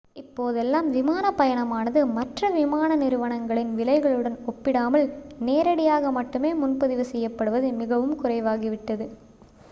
இப்போதெல்லாம் விமானப் பயணமானது மற்ற விமான நிறுவனங்களின் விலைகளுடன் ஒப்பிடாமல் நேரடியாக மட்டுமே முன்பதிவு செய்யப்படுவது மிகவும் குறைவாகிவிட்டது